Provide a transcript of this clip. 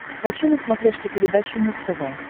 хочу на смотрешке передачу муз тв